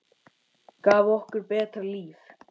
Gaf okkur betra líf.